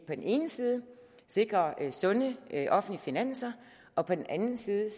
den ene side sikrer sunde offentlige finanser og på den anden side